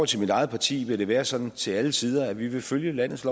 til mit eget parti vil det være sådan til alle tider at vi vil følge landets